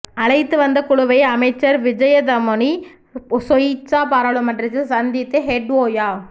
அழைத்து வந்த குழுவை அமைச்சர் விஜிதமுனி சொய்சா பாராளுமன்றில் சந்தித்து ஹெட் ஓயா